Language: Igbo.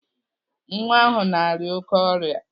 Nwa ahụ na-arịa oké ọrịa.